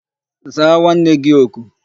Zaa nwanne gi oku!